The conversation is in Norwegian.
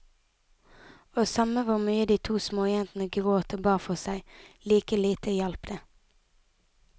Og samme hvor mye de to småjentene gråt og ba for seg, like lite hjalp det.